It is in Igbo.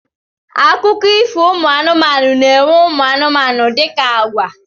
Akụkọ ifo ụmụ anụmanụ na-enwe ụmụ anụmanụ dịka àgwà.